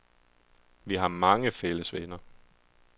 Vi har mange fælles venner.